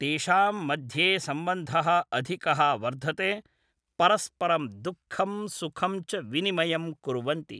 तेषां मध्ये सम्बन्धः अधिकः वर्धते परस्परं दुःखं सुखञ्च विनिमयं कुर्वन्ति